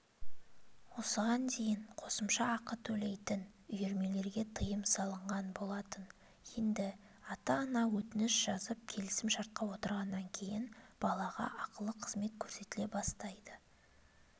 осыған дейін қосымша ақы төлейтін үйірмелерге тыйым салынған болатын енді ата-ана өтініш жазып келісім-шартқа отырғаннан кейін балаға ақылы қызмет көрсетіле бастайды